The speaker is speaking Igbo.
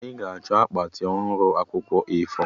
Anyị ga-achọ akpati ọhụrụ akwụkwọ A4